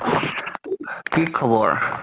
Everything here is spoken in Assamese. কি খবৰ?